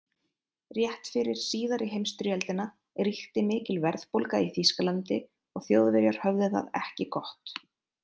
Rétt fyrir síðari heimsstyrjöldina ríkti mikil verðbólga í Þýskalandi og Þjóðverjar höfðu það ekki gott.